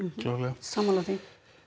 sammála því